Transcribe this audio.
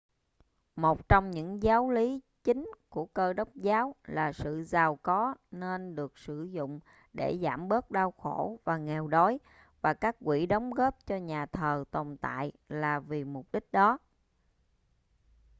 một trong những giáo lý chính của cơ đốc giáo là sự giàu có nên được sử dụng để giảm bớt đau khổ và nghèo đói và các quỹ đóng góp cho nhà thờ tồn tại là vì mục đích đó